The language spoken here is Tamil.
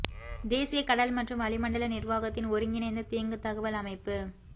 தேசிய கடல் மற்றும் வளிமண்டல நிர்வாகத்தின் ஒருங்கிணைந்த தீங்கு தகவல் அமைப்பு